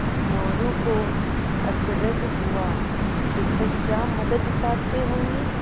मोरू को अचरज हुआ शिक्षक क्या मदद चाहते होंगे